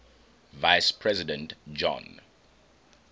vice president john